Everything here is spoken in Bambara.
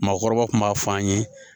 Maakɔrɔba kun b'a fɔ an ye